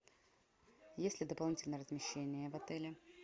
есть ли дополнительное размещение в отеле